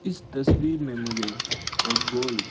इस तस्वीर में मुझे एक गोल--